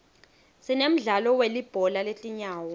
sinemdlalo welibhola letinyawo